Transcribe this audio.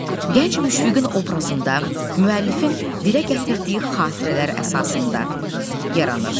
Gənc Müşfiqin obrazında müəllifin dilə gətirdiyi xatirələr əsasında yaranır.